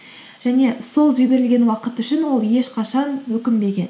және сол жіберілген уақыт үшін ол ешқашан өкінбеген